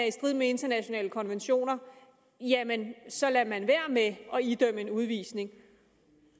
i strid med internationale konventioner jamen så lader man være med at idømme en udvisning